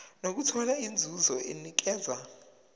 nokuthola inzuzo enikezwa